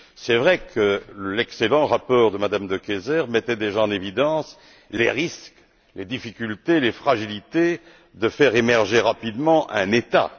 Il est vrai que l'excellent rapport de Mme De Keyser mettait déjà en évidence les risques, les difficultés, les fragilités de faire émerger rapidement un État.